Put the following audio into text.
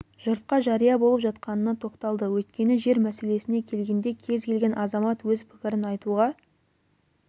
жұртқа жария болып жатқанына тоқталды өйткені жер мәселесіне келгенде кез келген азамат өз пікірін айтуға